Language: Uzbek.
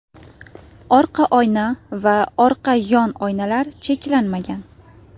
Orqa oyna va orqa yon oynalar cheklanmagan.